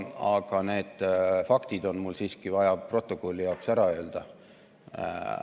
Aga need faktid on mul siiski vaja stenogrammi jaoks ära öelda.